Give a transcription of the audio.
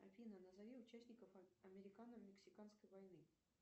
афина назови участников американо мексиканской войны